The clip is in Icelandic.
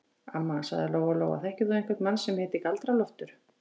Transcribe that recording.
Amma, sagði Lóa-Lóa, þekkir þú einhvern mann sem heitir Galdra-Loftur?